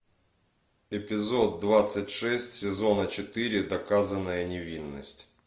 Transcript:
эпизод двадцать шесть сезона четыре доказанная невиновность